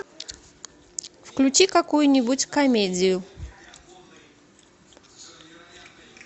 включи какую нибудь комедию